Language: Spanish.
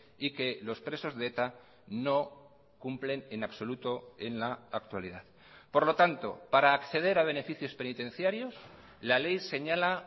y que los presos de eta no cumplen en absoluto en la actualidad por lo tanto para acceder a beneficios penitenciarios la ley señala